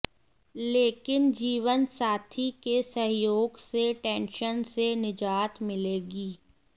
लेकिन जीवनसाथी के सहयोग से टेंशन से निजात मिलेगी